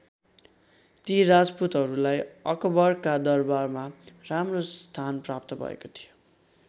ती राजपूतहरूलाई अकबरका दरबारमा राम्रो स्थान प्राप्त भएको थियो।